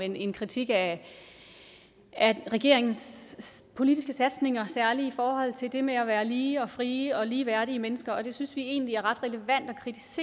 en kritik af regeringens politiske satsninger særlig i forhold til det med at være lige og frie og ligeværdige mennesker det synes vi egentlig er ret relevant at